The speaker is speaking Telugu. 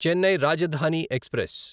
చెన్నై రాజధాని ఎక్స్ప్రెస్